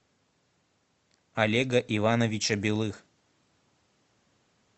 олега ивановича белых